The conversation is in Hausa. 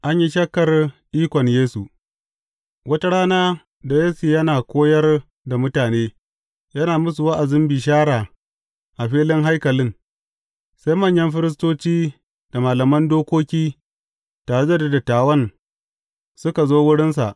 An yi shakkar ikon Yesu Wata rana da Yesu yana koyar da mutane, yana musu wa’azin bishara a filin haikalin, sai manyan firistoci da malaman dokoki, tare da dattawan suka zo wurinsa.